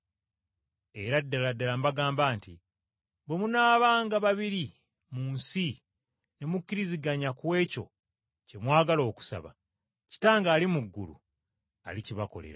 “Era ddala ddala mbagamba nti bwe munaabanga babiri mu nsi ne mukkiriziganya ku ekyo kye mwagala okusaba, Kitange ali mu ggulu alikibakolera.